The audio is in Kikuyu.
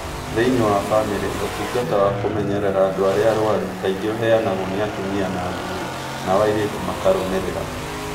Thĩinĩ wa bamĩrĩ, ũtungata wa kũmenyerera andũ arĩa arwaru kaingĩ ũheanagwo nĩ atumia na athuuri, nao airĩtu makarũmĩrĩra.